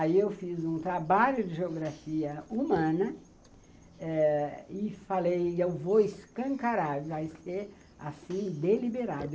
Aí eu fiz um trabalho de geografia humana e falei, eu vou escancarar, vai ser assim, deliberado.